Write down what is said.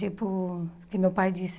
Tipo, o que meu pai disse.